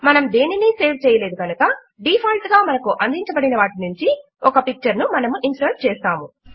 మనము దేనినీ సేవ్ చేయలేదు కనుక డీఫాల్ట్ గా మనకు అందిచబడినవాటి నుంచి ఒక పిక్చర్ ను మనము ఇన్సర్ట్ చేస్తాము